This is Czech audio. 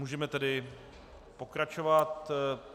Můžeme tedy pokračovat.